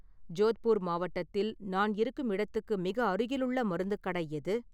ஜோத்பூர் மாவட்டத்தில் நான் இருக்கும் இடத்துக்கு மிக அருகிலுள்ள மருந்துக் கடை எது?